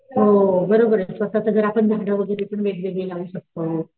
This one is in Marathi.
हो बरोबर स्वतःच घर आपण झाड वैगेरे पण वेगवेगळे लावू शकतो,